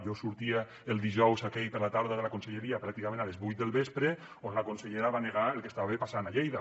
jo sortia el dijous aquell a la tarda de la conselleria pràcticament a les vuit del vespre on la consellera va negar el que estava passant a lleida